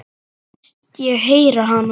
Finnst ég heyra hana.